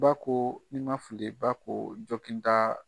Ba ko ni ma fili, ba ko ta